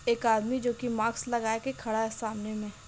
एक आदमी जो कि मास्क लगा के खड़ा है सामने में |